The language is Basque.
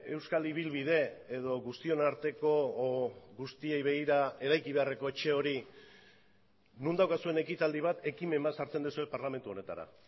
euskal ibilbide edo guztion arteko edo guztiei begira eraiki beharreko etxe hori non daukazuen ekitaldi bat ekimen bat sartzen duzue parlamentu honetara